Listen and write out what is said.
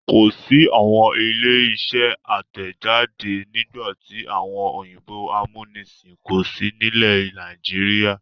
Kò sí àwọn ilé-iṣẹ́ àtẹ̀jáde nígbà tí àwọn òyìnbó amúnisìn kò sí nílẹ̀ Nàìjíríà.